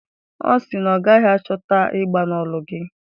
Ọ sị na ọ gaghị achọta mgba n'olu gị?